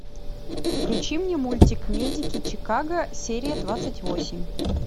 включи мне мультик медики чикаго серия двадцать восемь